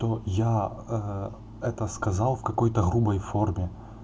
то я ээ это сказал в какой-то грубой форме